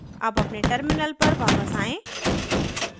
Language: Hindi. अब अपने terminal पर वापस आयें